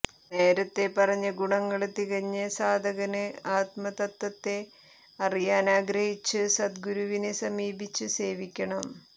നേരത്തേ പറഞ്ഞ ഗുണങ്ങള് തികഞ്ഞ സാധകന് ആത്മതത്വത്തെ അറിയാനാഗ്രഹിച്ച് സദ്ഗുരുവിനെ സമീപിച്ച് സേവിക്കണം